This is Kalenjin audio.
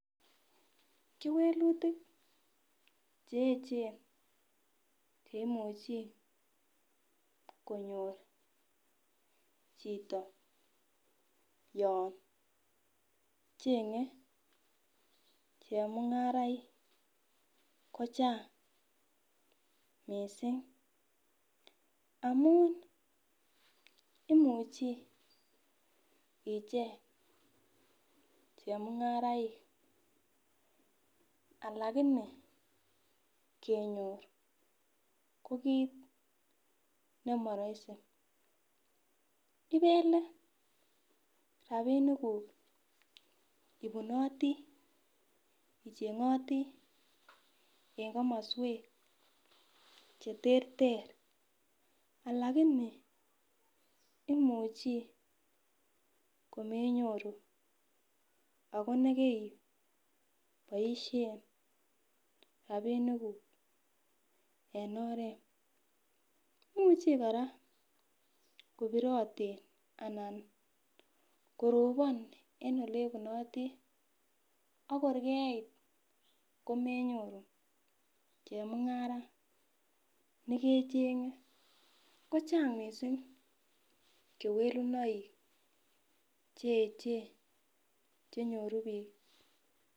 Kewelutik che echen cheimuchi konyor chito yon chengee chemung'araik kochang missing amun imuche icheng chemung'araik alakini kenyor ko kit nemoroisi .Ibelee rapinikuk ibunoti icheng'oti en komoswek cheterter alakini imuchii komenyoru akone keboisien rapinikuk en oret imuche kora kobiroten anan koroponen en olebunoten akor keit komenyoru chemung'araik nekecheng kochang missing kewelunoik che echen chenyoru biik .